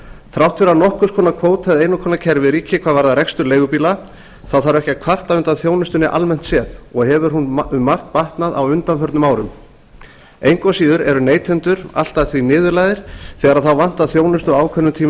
þrátt fyrir að nokkurs konar kvóti eða einokunarkerfi ríki hvað varðar rekstur leigubíla þarf ekki að kvarta undan þjónustunni almennt séð og hefur hún um margt batnað á undanförnum árum engu að síður eru neytendur allt að því niðurlægðir þegar þá vantar þjónustu á ákveðnum tímum